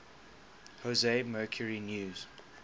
jose mercury news